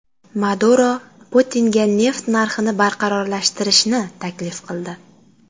Maduro Putinga neft narxini barqarorlashtirishni taklif qildi.